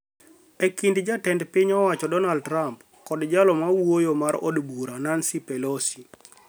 e kind Jatend piny owacho Donald Trump kod jalo mawuoyo mar od bura Nancy Pelosi